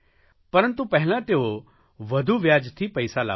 પરંતુ પહેલાં તેઓ વધુ વ્યાજથી પૈસા લાવતા હતા